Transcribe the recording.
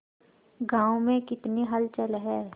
गांव में कितनी हलचल है